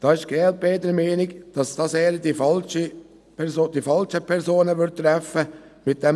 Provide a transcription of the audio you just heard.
Die glp ist der Meinung, dass ein freiwilliger Abzug eher die falschen Personen treffen würde.